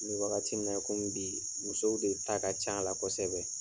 Me wagati min na komi bi, musow de ta ka ca a la kosɛbɛ.